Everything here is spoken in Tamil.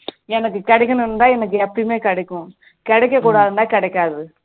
எனக்கு கிடைக்கணும்னு இருந்தா எனக்கு எப்பயும் கிடைக்கும் கிடைக்க கூடாதுன்னு இருந்தா கிடைக்காது